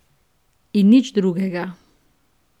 In nič drugega.